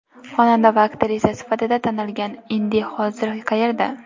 Xonanda va aktrisa sifatida tanilgan Indi hozir qayerda?